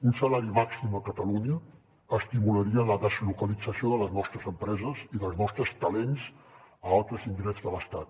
un salari màxim a catalunya estimularia la deslocalització de les nostres empreses i dels nostres talents a altres indrets de l’estat